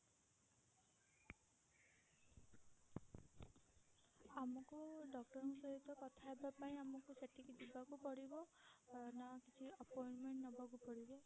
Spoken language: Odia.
ଆମକୁ doctor ଙ୍କ ସହିତ କଥା ହବା ପାଇଁ ଆମକୁ ସେଠିକି ଯିବାକୁ ପଡିବ ନା କିଛି appointment ନବାକୁ ପଡିବ?